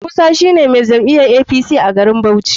Musa shine mai jam'iyar apc a garin bauchi.